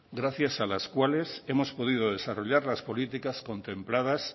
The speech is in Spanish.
gracias a las cuales hemos podido desarrollar las políticas contempladas